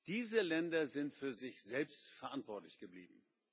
Diese Länder sind für sich selbst verantwortlich geblieben.